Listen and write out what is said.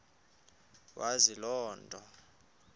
wazi loo nto